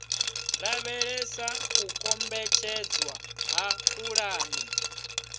lavhelesa u kombetshedzwa ha pulani